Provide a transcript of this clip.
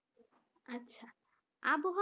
আচ্ছা আবহাওয়া